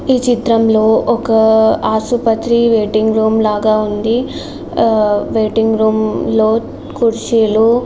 ఈ చిత్రంలో ఒక ఆసుపత్రి వేటింగ్ రూమ్ లాగా ఉంది. వెయిటింగ్ రూమ్ లో కుర్చీలో --